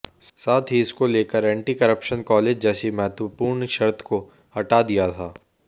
साथ ही इसको लेकर एंटी करप्शन क्लॉज जैसी महत्वपूर्ण शर्त को हटा दिया था